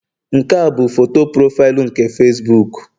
Nke a bụ foto profaịlụ nke Facibuku